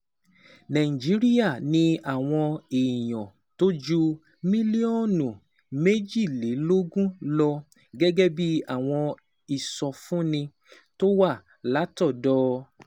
Nàìjíríà ní àwọn èèyàn tó ju mílíọ̀nù méjìlélógún lọ, gẹ́gẹ́ bí àwọn ìsọfúnni tó wá látọ̀dọ̀